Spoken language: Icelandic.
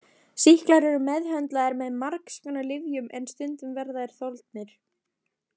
Sýklar eru meðhöndlaðir með margskonar lyfjum en stundum verða þeir þolnir.